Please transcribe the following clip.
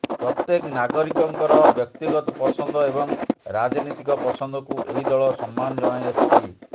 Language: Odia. ପ୍ରତ୍ୟେକ ନାଗରିକଙ୍କର ବ୍ୟକ୍ତିଗତ ପସନ୍ଦ ଏବଂ ରାଜନୀତିକ ପସନ୍ଦକୁ ଏହି ଦଳ ସମ୍ମାନ ଜଣାଇଆସିଛି